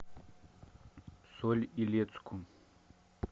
соль илецку